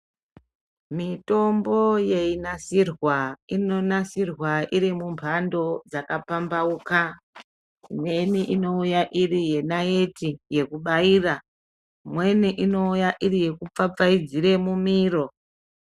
Mitombo yeinasirwa inonasirwa iri mumbando dzaka pambauka imweni inouya iri naite yekubaira, imweni inouya iri yekupfapfaidzira mumiro.